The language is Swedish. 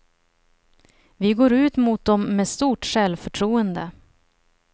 Vi går ut mot dom med stort självförtroende.